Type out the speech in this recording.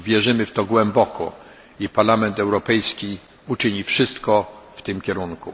Wierzymy w to głęboko i Parlament Europejski uczyni wszystko w tym kierunku.